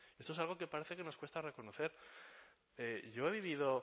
esto es algo que parece que nos cuesta reconocer yo he vivido